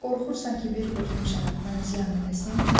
Qorxursan ki, bir qurtum şərab mənə ziyan eləsin?